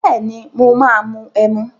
Bẹ́ẹ̀ni, mo máa ẹmu.